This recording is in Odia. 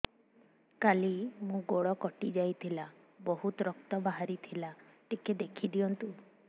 କାଲି ମୋ ଗୋଡ଼ କଟି ଯାଇଥିଲା ବହୁତ ରକ୍ତ ବାହାରି ଥିଲା ଟିକେ ଦେଖି ଦିଅନ୍ତୁ